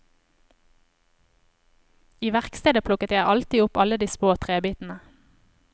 I verkstedet plukket jeg alltid opp alle de små trebitene.